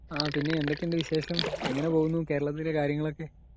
പിന്നെ എന്തൊക്കെയുണ്ട് വിശേഷം.എങ്ങനെ പോകുന്നു കേരളത്തിൽ കാര്യങ്ങളൊക്കെ .